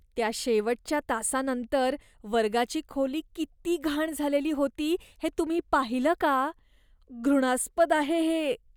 त्या शेवटच्या तासानंतर वर्गाची खोली किती घाण झालेली होती हे तुम्ही पाहिलं का? घृणास्पद आहे हे.